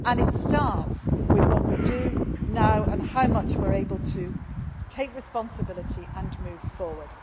It starts with what we do now and how much we are able to take responsibility and move forward.